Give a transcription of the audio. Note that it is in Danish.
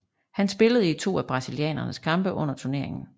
Han spillede i to af brasilianernes kampe under turneringen